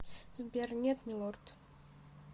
сбер нет милорд